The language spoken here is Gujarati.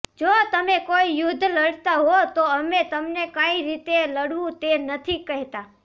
જો તમે કોઈ યુદ્ધ લડતાં હો તો અમે તમને કઈ રીતે લડવું તે નથી કહેતા